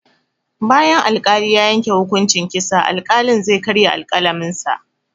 Bayan al-kali ya yanke hukunci kitsa, al-kalin zai karya alƙalamin sa